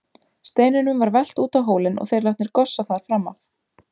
Steinunum var velt út á hólinn og þeir látnir gossa þar fram af.